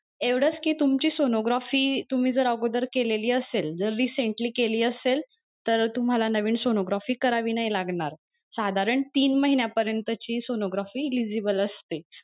एवढंच कि तुमची sonography तुम्ही जर अगोदर केली असेल जर recently केली असेल तर तुम्हाला नवीन sonography करावी नाही लागणार साधारण तीन महिन्या परियंतची sonography eligible असते.